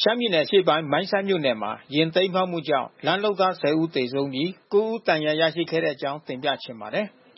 ရှမ်းပြည်နယ် အရှေ့ပိုင်းမိုင်းဆတ်မြို့နယ်မှာ ယာဉ်တိမ်းမှောက်မှုကြောင့် လမ်းလုပ်သား ၁၀ ဦးသေဆုံးပြီး ကိုးဦး ဒဏ်ရာရရှိခဲ့တဲ့အကြောင်းကို ဗွီအိုအေ မြ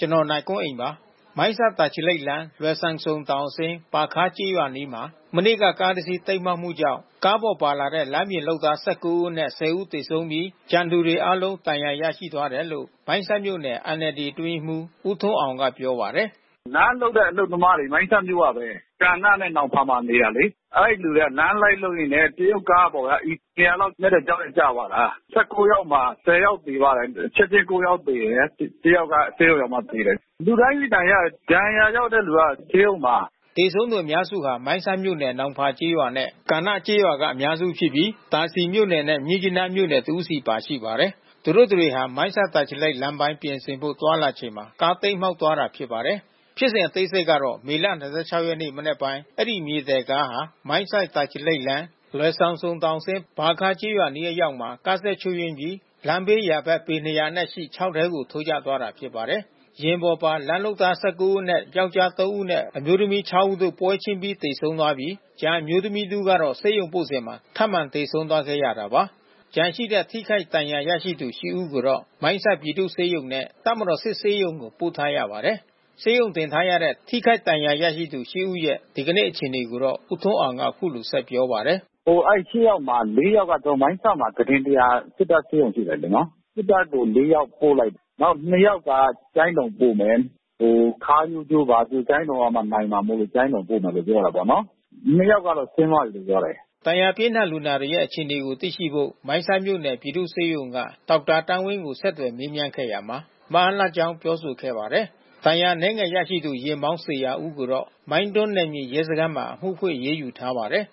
န်မာပိုင်းသတင်းထောက် ကိုနိုင်ကွန်းအိန်က တင်ပြပေးပါမယ်။ မိုင်းဆတ် တာချီလိတ်လမ်း လွယ်ဆမ်ဆုံတောင်အဆင်း ပါခါး ကျေးရွာအနီးမှာ ဒီကနေ့ ကားတစီး တိမ်းမှောက်မှုကြောင့် ကားပေါ်ပါလာတဲ့ လမ်းပြင်လုပ်သား ၁၉ ဦးအနက် ၁၀ ဦး သေဆုံးပြီး ကျန်သူတွေအားလုံးဒဏ်ရာ ရရှိသွားတယ်လို့မိုင်းဆတ်မြို့နယ် NLD အတွင်းရေးမှူး ဦးထွန်းအောင်ကပြောပါတယ်။ “လမ်းလုပ်တဲ့ အလုပ်သမားတွေ မိုင်းဆတ်မြို့ကပဲ။ ကာနနဲ့ နောင်ဖာမှာနေတာလေ။ အဲဒီလူတွေက လမ်းလိုက်လုပ်ရင်းနဲ့ တရုတ် ကားပေါ်က ပေ ၂၀၀ လောက်နက်တဲ့ချောက်ထဲကျသွားတာ။ ၁၉ ယောက်မှာ ၁၀ ယောက်သေသွားတာ။ ချက်ချင်း ကိုးယောက် သေတယ်။ တယောက်က ဆေးရုံရောက်မှ သေတယ်။ လူတိုင်းဒဏ်ရာရတယ်။ ဒဏ်ရာရတဲ့သူတွေဆေးရုံမှာ။” သေဆုံးသူအများစုဟာ မိုင်းဆတ်မြို့နယ်၊ နောင်ဖာကျေးရွာနဲ့ ကာနုကျေးရွာက အများစုဖြစ်ပြီး သာစည်မြို့နယ်နဲ့ မြစ်ကြီးနား မြို့နယ်က တဦးစီ ပါရှိပါတယ်။ သူတို့တတွေဟာ မိုင်းဆတ် တာချီလိတ်လမ်းပိုင်း ပြင်ဆင်ဖို့သွားလာချိန်မှာ ကားတိမ်းမှောက် သွားတာဖြစ်ပါတယ်။ ဖြစ်စဉ်အသေးစိတ်ကတော့ မေလ ၂၆ ရက်နေ့မနက်ပိုင်း အဲဒီ မြေသယ်ကားဟာ မိုင်းဆတ်-တာချီလိတ်လမ်း လွယ်ဆမ်ဆုံတောင်အဆင်း ပါခါးကျေးရွာ အနီး အရောက်မှာ ကားစက်ချို့ယွင်းပြီး လမ်းဘေးယာဘက်ပေ ၂၀၀ အနက်ရှိချောက်ထဲကို ထိုးကျသွားတာဖြစ်ပါတယ်။ ယာဉ်ပေါ်ပါ လမ်း လုပ်သား ၁၉ ဦးအနက် ယောကျ်ား သုံး ဦးနဲ့ အမျိုးသမီး ခြောက် ဦးတို့ ပွဲချင်းပြီးသေဆုံးပြီး ကျန်အမျိုးသမီး တစ်ဦးကတော့ ဆေးရုံပို့စဉ် ထပ်မံသေဆုံးသွားခဲ့ရတာပါ။ ကျန်ရှိတဲ့ထိခိုက်ဒဏ်ရာရသူ ရှစ် ဦးကိုတော့ မိုင်းဆတ်ပြည်သူဆေးရုံနဲ့ တပ်မတော်စစ်ဆေးရုံကို ပို့ထားရပါတယ်။ ဆေးရုံတင်ထားရတဲ့ ထိခိုက်ဒဏ်ရာရသူ ရှစ် ဦးရဲ့ ဒီကနေ့ အခြေအနေကိုတော့ ဦးထွန်းအောင်ကအခုလိုဆက်ပြောပါတယ်။ “အဲဒီ ရှစ် ယောက်မှာ လေး ယောက်က ကျနော်တို့ မိုင်းဆတ်မှာ ကုတင် ၁၀၀ ဆန့်တဲ့ စစ်တပ်ဆေးရုံရှိတယ်လေနော်။ နောက် နှစ် ယောက်က ကျိုင်းတုံပို့မယ်။ ခါးရိုးကျိုး၊ ဘာကျိုး ကျိုင်းတုံကမှ နိုင်မှာမို့လို့ ကျိုင်းတုံ ပို့မယ်လို့ပြောတာပေါ့နော်။ နှစ်ယောက်ကတော့ဆင်းသွားပြီးလို့ပြောတယ်။ ဒဏ်ရာပြင်းထန်လူနာတွေရဲ့အခြေအနေကို သိရှိဖို့ မိုင်းဆတ်မြို့နယ်ပြည်သူ့ဆေးရုံ ဒေါက်တာသန်းဝင်းကို ဆက်သွယ်မေးမြန်းခဲ့ရာမှာ မအားလပ်ကြောင်း ပြောဆိုခဲ့ပါတယ်။ ဒဏ်ရာအနည်းငယ်ရရှိသူ ယာဉ်မောင်း ဇေယျာဦးကိုတော့ မိုင်းတွမ်းနယ်မြေရဲစခန်းမှာအမှုဖွင့်အရေးယူထားပါတယ်